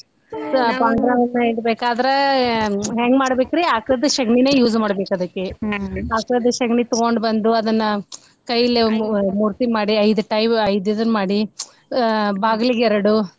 ಪಾಂಡುರಂಗನ್ನ ಇಡಬೇಕಾದ್ರ ಹೆಂಗ್ ಮಾಡ್ಬೇಕ್ರಿ ಆಕಳದ್ದ್ ಶಗಣಿನ use ಮಾಡ್ಬೇಕ್ ಅದಕ್ಕೆ ಆಕಳದ್ದ್ ಶಗಣಿ ತಗೊಂಡ ಬಂದು ಕೈಲೆ ಮು~ ಮೂರ್ತಿ ಮಾಡಿ ಐದ್ ತೈ ಐದ್ ಇದನ್ ಮಾಡಿ ಬಾಗ್ಲಿಗ್ ಎರಡು.